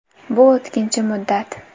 Bu o‘tkinchi muddat.